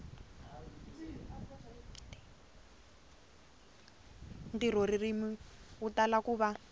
ntivoririmi wu tala ku va